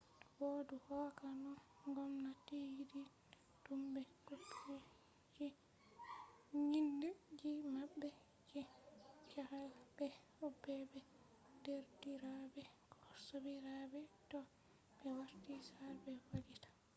bo du hokka no gomnati yidini dum/ be copiji nyinde ji mabbe je jahale be obbe be derdirabe ko sobirabe toh be warti sare be vallita